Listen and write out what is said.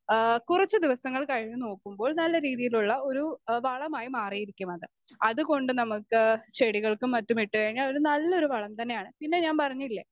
speaker 2 ആ കുറച്ചു ദിവസങ്ങൾ കഴിഞ്ഞു നോക്കുമ്പോൾ നല്ലരീതിയിലുള്ള ഒരു ഏഹ് വളമായി മാറിയിരിക്കുമത്.അതുകൊണ്ട് നമുക്ക് ചെടികൾക്കും മറ്റുമിട്ട്കഴിഞ്ഞാൽ ഒരു നല്ലൊരു വളം തന്നെയാണ് പിന്നെ ഞാൻ പറഞ്ഞില്ലേ